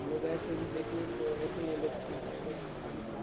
हम लोग गए थे अभी देखने तो ऐसी ही है लोग कहते है लोग --